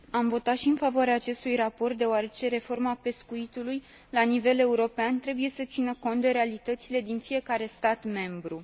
Am votat și în favoarea acestui raport, deoarece reforma pescuitului la nivel european trebuie să țină cont de realitățile din fiecare stat membru.